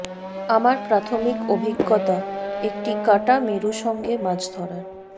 আমার প্রাথমিক অভিজ্ঞতা একটি কাঁটা মেরু সঙ্গে মাছ ধরার